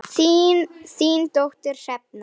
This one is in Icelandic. Þín dóttir, Hrefna.